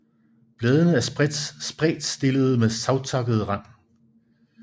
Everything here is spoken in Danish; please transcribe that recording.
Bladene er spredtstillede med savtakket rand